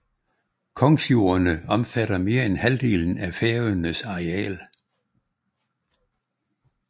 Kongsjordene omfatter mere end halvdelen af Færøernes areal